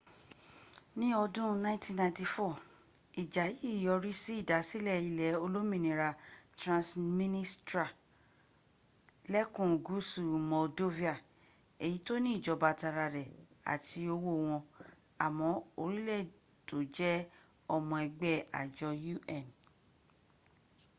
ní ọdún 1994 ìjà yìí yọrí sí ìdásílẹ̀ ilẹ̀ olómìnira transnistrialẹ́kùn gúúsù moldova èyí tó ní ìjọba tara rẹ̀ àti owó wọn àmọ́ orílẹ̀ tó jẹ́ ọmọ ẹgbẹ́ àjọ un